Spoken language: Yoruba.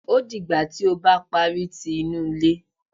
Ó dìgbà tí ó bá parí tí inú ilé